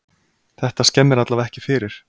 Þetta skemmir allavega ekki fyrir.